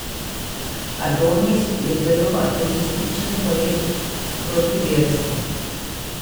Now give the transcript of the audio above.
Adonis je zelo ateističen poet, protiverski.